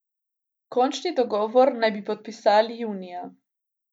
Končni dogovor naj bi podpisali junija.